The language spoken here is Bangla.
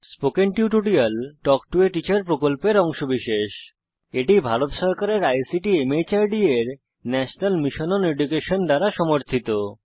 spoken tutorial talk to a teacher প্রকল্পের অংশবিশেষ এটি ভারত সরকারের আইসিটি মাহর্দ এর ন্যাশনাল মিশন ওন এডুকেশন দ্বারা সমর্থিত